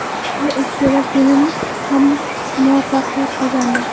Har ikkala film ham muvaffaqiyat qozondi.